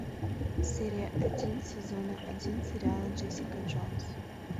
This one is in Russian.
серия один сезона один сериала джессика джонс